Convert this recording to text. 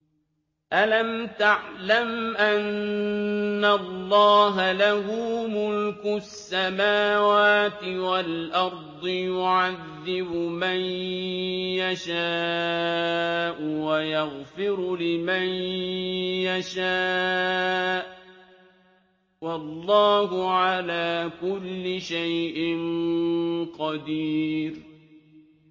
أَلَمْ تَعْلَمْ أَنَّ اللَّهَ لَهُ مُلْكُ السَّمَاوَاتِ وَالْأَرْضِ يُعَذِّبُ مَن يَشَاءُ وَيَغْفِرُ لِمَن يَشَاءُ ۗ وَاللَّهُ عَلَىٰ كُلِّ شَيْءٍ قَدِيرٌ